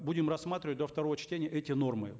будем рассматривать до второго чтения эти нормы